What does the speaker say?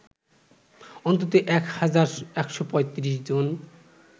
অন্তত ১ হাজার ১৩৫ জন